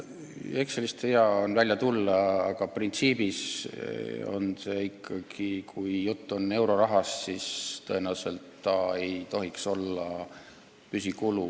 Excelist on vaja välja tulla, aga printsiip on selline, et kui jutt on eurorahast, siis tõenäoliselt ei tohiks tegu olla püsikuluga.